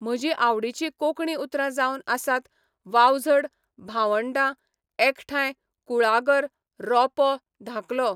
म्हजी आवडीचीं कोंकणी उतरां जावन आसात वावझड भावंडा एकठांय कुळागर रोंपो धाकलो